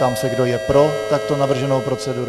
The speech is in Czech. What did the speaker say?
Ptám se, kdo je pro takto navrženou proceduru.